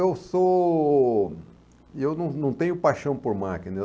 Eu sou... Eu não não tenho paixão por máquinas.